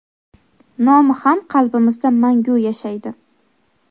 nomi ham qalbimizda mangu yashaydi!.